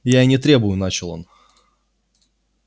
я и не требую начал он